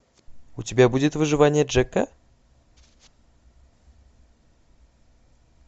у тебя будет выживание джека